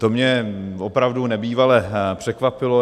To mě opravdu nebývale překvapilo.